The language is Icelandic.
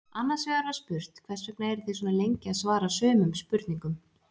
Annars vegar var spurt Hvers vegna eruð þið svona lengi að svara sumum spurningum?